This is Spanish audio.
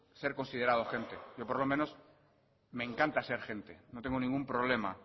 ser considerado gente yo por lo menos me encanta ser gente no tengo ningún problema